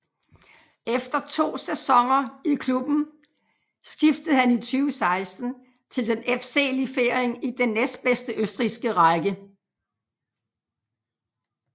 Efter to sæsoner i klubben skiftede han i 2016 til den FC Liefering i den næstbedste østrigske række